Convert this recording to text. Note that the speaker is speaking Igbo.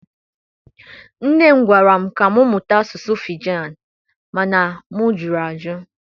Nne m gwara m ka m mụta asụsụ Fijan, ma na m jụrụ ajụ.